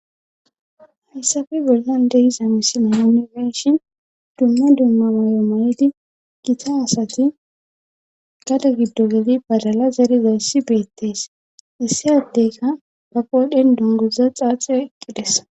hayssape bollan dehiza misila unifeshin dumma dumma mayo ma7edi gita asati gada giddo geli balala zariza hissi beettees issi addeyka ba qoodhen dongoza xaaxiyo iqqides